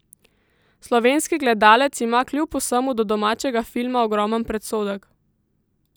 Slovenski gledalec ima kljub vsemu do domačega filma ogromen predsodek.